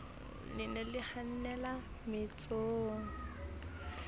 le ne le hanella mmetsong